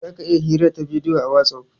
Zaka iya hirar ta bidiyo a "Whatsapp".